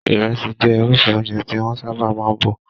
Ìrẹsì jẹ́ irúfẹ́ oúnjẹ tí wọ́n sábà máa ń bọ̀.